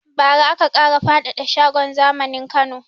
Ba ra aka ƙara faɗada shagon zamanin Kano